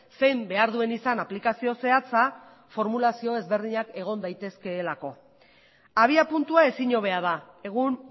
zein behar duen izan aplikazio zehatza formulazio ezberdinak egon daitezkeelako abiapuntua ezin hobea da egun